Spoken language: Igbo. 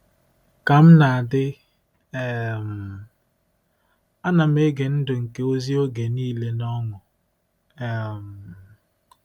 Ka m na-adị, um ana m ege ndụ nke ozi oge niile n’ọṅụ. um